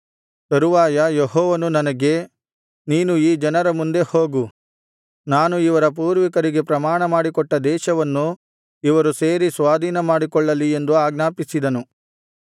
ತರುವಾಯ ಯೆಹೋವನು ನನಗೆ ನೀನು ಈ ಜನರ ಮುಂದೆ ಹೋಗು ನಾನು ಇವರ ಪೂರ್ವಿಕರಿಗೆ ಪ್ರಮಾಣಮಾಡಿಕೊಟ್ಟ ದೇಶವನ್ನು ಇವರು ಸೇರಿ ಸ್ವಾಧೀನಮಾಡಿಕೊಳ್ಳಲಿ ಎಂದು ಆಜ್ಞಾಪಿಸಿದನು